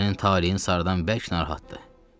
Sənin taleyin sarıdan bərk narahatdır.